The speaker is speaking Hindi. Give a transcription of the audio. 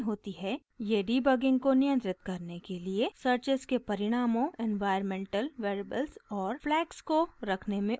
ये डिबगिंग को नियंत्रित करने के लिए सर्चेस के परिणामों इन्वाइरन्मेन्टल वेरिएबल्स और फ्लैग्स को रखने में उपयोग होते है